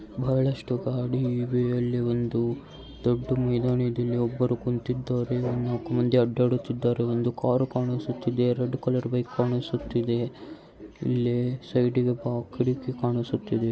ಬಹಳಷ್ಟು ಗಾಡಿ ಇವೆ ಅಲ್ಲಿ ಒಂದು ದೊಡ್ಡ ಮೈದಾನ ಇದೆ. ಅಲ್ಲಿ ಒಬ್ಬರು ಕುಂತಿದ್ದಾರೆ. ನಾಲ್ಕು ಮಂದಿ ಅಡ್ಡಾಡುತ್ತಿದ್ದಾರೆ. ಒಂದು ಕಾರು ಕಾಣಿಸುತ್ತಿದೆ ರೆಡ್ ಕಲರ್ ಬೈಕ್ ಕಾಣಿಸುತ್ತಿದೆ. ಇಲ್ಲಿ ಸೈಡಿಗೆ ಒಬ್ಬ ಕಿಡಕಿ ಕಾಣಿಸುತ್ತಿದೆ .